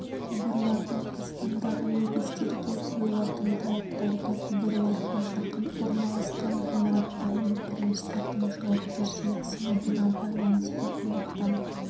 құбырлардың астындағы негіздерге қойылатын талаптарды құбырларға жақын орналасқан ғимараттар мен құрылыстардың жауапкершілік сыныбына байланысты анықтау